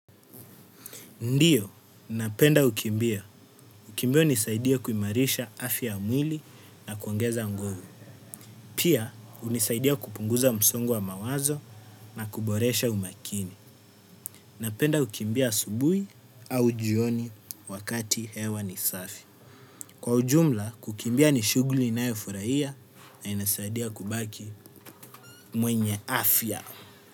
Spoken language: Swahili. Ndio, napenda kukimbia. Kukimbia hunisaidia kuimarisha afya ya mwili na kuongeza nguvu. Pia, hunisaidia kupunguza msongo wa mawazo na kuboresha umakini. Napenda kukimbia asubuhi au jioni wakati hewa ni safi. Kwa ujumla, kukimbia ni shughuli ninayofurahia na inasaidia kubaki mwenye afya.